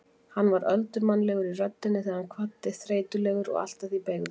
Hann var öldurmannlegur í röddinni þegar hann kvaddi, þreytulegur og allt að því beygður.